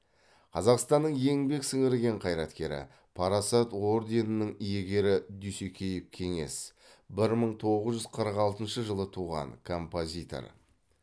қазақстанның еңбек сіңірген қайраткері парасат орденінің иегері дүйсекеев кеңес бір мың тоғыз жүз қырық алтыншы жылы туған композитор